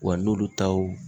Wa n'olu taw